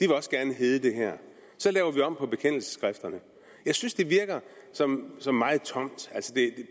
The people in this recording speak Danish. vil også gerne hedde det her så laver vi om på bekendelsesskrifterne jeg synes det virker som som meget tomt det